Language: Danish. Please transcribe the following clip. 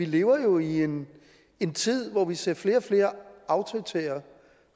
lever i en en tid hvor vi ser flere og flere autoritære